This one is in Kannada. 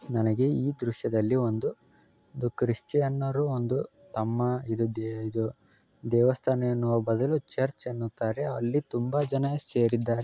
ನನಗೆ ಈ ದೃಶ್ಯದಲ್ಲಿ ಒಂದು ಕ್ರಿಶ್ಚಿಯನ್ನರು ಒಂದು ತಮ್ಮ ಇದು ಇದು ದೇವಸ್ಥಾನ ಎನ್ನುವ ಬದಲು ಚರ್ಚ್ ಎನ್ನುತ್ತಾರೆ ಅಲ್ಲಿ ತುಂಬಾ ಜನ ಸೇರಿದ್ದಾರೆ.